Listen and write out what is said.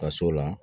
Ka s'o la